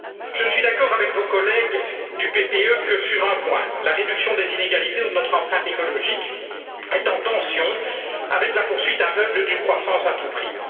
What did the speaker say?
Je ne suis d'accord avec vos collègues du PPE que sur un point la réduction des inégalités ou de notre empreinte écologique est en tension avec la poursuite aveugle d'une croissance à tout prix.